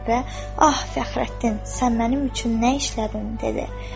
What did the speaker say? və "Ah, Fəxrəddin, sən mənim üçün nə işlətdin?"